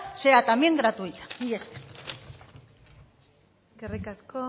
sea también gratuita mila esker eskerrik asko